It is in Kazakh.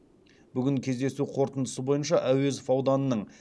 бүгін кездесу қорытындысы бойынша әуезов ауданының